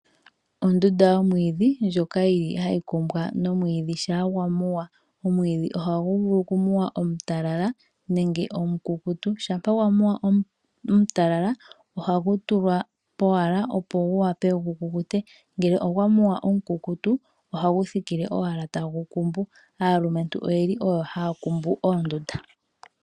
Ondunda yomwidhi ndjoka yili hayi kumbwa nomwidhi sha gwa muwa. Omwidhi oha gu vulu oku muwa omutalala nenge omukukutu, shampa gwa muwa omutalala oha gu tulwa powala opo gu wape oku kukuta. Nangoka omukukutu oha gu thikile owala tagu kumbu naalumentu oyo yeli haya kumbu oondunda.